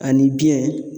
Ani biɲɛ